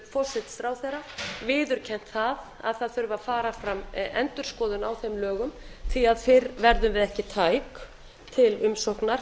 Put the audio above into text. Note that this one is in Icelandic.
forsætisráðherra viðurkennt að það þurfi að fara fram endurskoðun á þeim lögum því að fyrr verðum við ekki tæk til umsóknar fyrr en